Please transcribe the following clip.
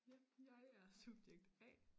Ja jeg er subjekt A